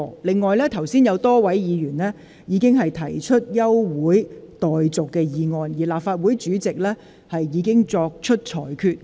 此外，剛才有多位議員要求動議休會待續議案，立法會主席已就他們的要求作出裁決。